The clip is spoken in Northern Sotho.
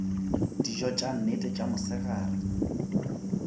dijo tša nnete tša mosegare